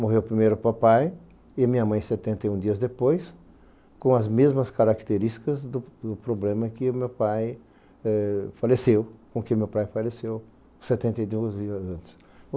morreu primeiro o papai e minha mãe setenta e um dias depois, com as mesmas características do do problema que o meu pai eh faleceu, com que meu pai faleceu setenta e um dias antes.